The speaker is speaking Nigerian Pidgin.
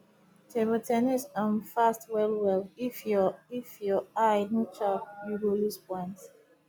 table ten nis um fast wellwell if your if your eye no sharp you go lose point